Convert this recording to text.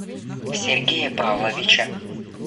сергея павловича